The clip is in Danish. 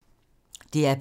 DR P2